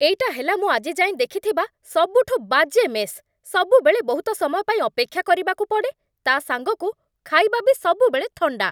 ଏଇଟା ହେଲା ମୁଁ ଆଜି ଯାଏଁ ଦେଖିଥିବା ସବୁଠୁ ବାଜେ ମେସ୍ । ସବୁବେଳେ ବହୁତ ସମୟ ପାଇଁ ଅପେକ୍ଷା କରିବାକୁ ପଡ଼େ, ତା'ସାଙ୍ଗକୁ ଖାଇବା ବି ସବୁବେଳେ ଥଣ୍ଡା ।